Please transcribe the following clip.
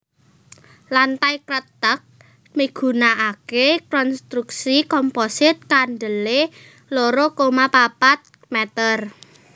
Lantai kreteg migunakaké konstruksi komposit kandelé loro koma papat mèter